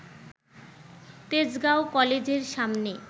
তেজগাঁও কলেজের সামনে